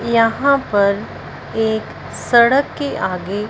यहां पर एक सड़क के आगे--